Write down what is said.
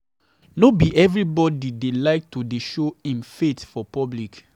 No be everybodi dey like to dey show im faith for public.